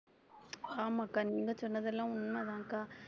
ஆமாக்கா நீங்க சொன்னதெல்லாம் உண்மைதான்கா